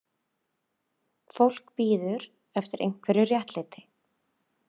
Fólk bíður eftir einhverju réttlæti